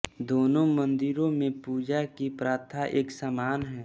दोनों मंदिरों में पूजा की प्रथा एक सामान है